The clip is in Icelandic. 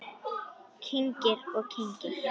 Kyngir og kyngir.